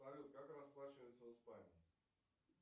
салют как расплачиваются в испании